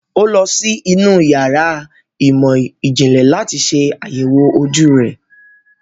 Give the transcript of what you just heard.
Ọ́ lọ sí inú yàrá ìmọ̀-ìjìnlẹ̀ láti ṣe àyẹ̀wò ojú rẹ̀.